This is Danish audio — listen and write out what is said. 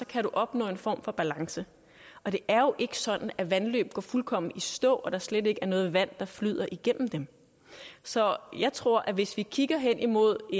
kan opnå en form for balance det er jo ikke sådan at vandløb går fuldkommen i stå og at der slet ikke er noget vand der flyder igennem dem så jeg tror at hvis vi kigger hen imod